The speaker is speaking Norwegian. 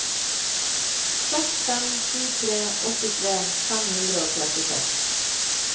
seks fem sju tre åttitre fem hundre og trettiseks